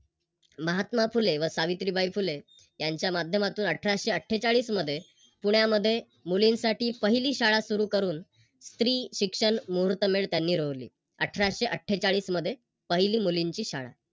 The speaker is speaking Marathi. महात्मा फुले व सावित्रीबाई फुले यांच्या माध्यमातून अठराशे अट्ठेचाळीस मध्ये पुण्यामध्ये मुलींसाठी पहिली शाळा सुरू करून स्त्री शिक्षण मुहूर्तमेळ त्यांनी रोवली. अठराशे अट्ठेचाळीस मध्ये पहिली मुलींची शाळा